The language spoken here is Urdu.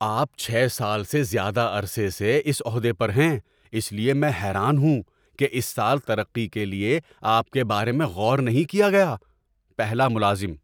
آپ چھ سال سے زیادہ عرصے سے اس عہدے پر ہیں، اس لیے میں حیران ہوں کہ اس سال ترقی کے لیے آپ کے بارے میں غور نہیں کیا گیا۔ (پہلا ملازم)